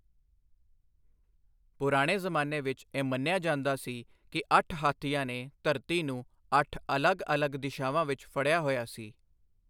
ਪੁਰਾਣੇ ਜ਼ਮਾਨੇ ਵਿੱਚ ਇਹ ਮੰਨਿਆ ਜਾਂਦਾ ਸੀ ਕਿ ਅੱਠ ਹਾਥੀਆਂ ਨੇ ਧਰਤੀ ਨੂੰ ਅੱਠ ਅਲੱਗ ਅਲੱਗ ਦਿਸ਼ਾਵਾਂ ਵਿੱਚ ਫੜਿਆ ਹੋਇਆ ਸੀ।